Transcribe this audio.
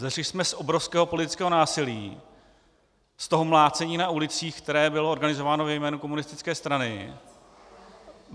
Vzešli jsme z obrovského politického násilí, z toho mlácení na ulicích, které bylo organizováno ve jménu komunistické strany.